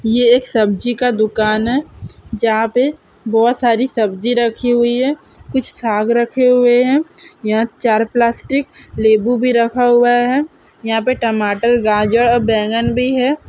यह एक सब्जी का दुकान है जहां पर बहुत सारी सब्जी रखी हुई है कुछ भाग रखे हुए हैं या चार प्लास्टिक लेबू भी रखा हुआ है यहां पर टमाटर गाजर और बैंगन भी है|